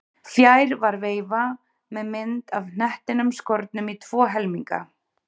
Fjær var veifa með mynd af hnettinum skornum í tvo helminga.